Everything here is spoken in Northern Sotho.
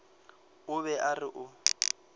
o be a re o